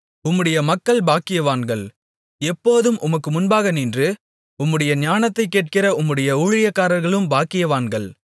உம்முடைய மக்கள் பாக்கியவான்கள் எப்போதும் உமக்கு முன்பாக நின்று உம்முடைய ஞானத்தைக் கேட்கிற உம்முடைய ஊழியக்காரர்களும் பாக்கியவான்கள்